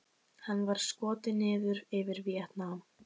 Hann var skotinn niður yfir Víetnam.